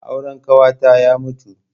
Auren ƙawata ya mutu.